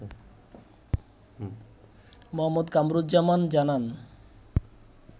মো. কামরুজ্জামান জানান